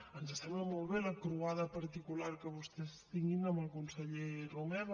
ens sembla molt bé la croada particular que vostès tinguin amb el conseller romeva